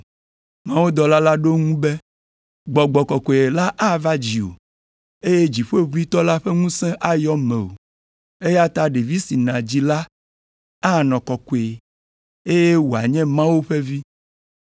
Mawudɔla la ɖo eŋu be, “Gbɔgbɔ Kɔkɔe la ava dziwò, eye Dziƒoʋĩtɔ la ƒe ŋusẽ ayɔ mewò, eya ta ɖevi si nàdzi la anɔ Kɔkɔe, eye wòanye Mawu ƒe Vi.